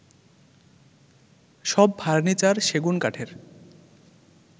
সব ফার্নিচার সেগুন কাঠের